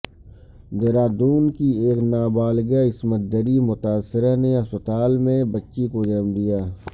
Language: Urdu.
دہرادون کی ایک نابالغہ عصمت دری متاثرہ نے اسپتال میں بچی کو جنم دیا